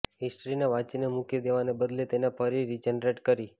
હિસ્ટ્રીને વાંચીને મૂકી દેવાને બદલે તેને ફરી રિજનરેટ કરી